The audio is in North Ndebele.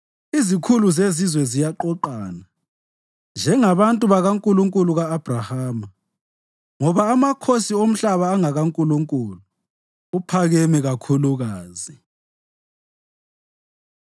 Izikhulu zezizwe ziyaqoqana njengabantu bakaNkulunkulu ka-Abhrahama, ngoba amakhosi omhlaba angakaNkulunkulu; uphakeme kakhulukazi.